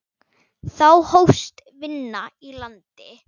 Þá hófst vinna í landi.